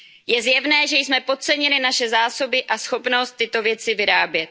Je zjevné, že jsme podcenili naše zásoby a schopnost tyto věci vyrábět.